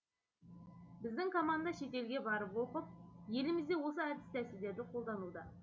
біздің команда шетелге барып оқып елімізде осы әдіс тәсілдерді қолдануда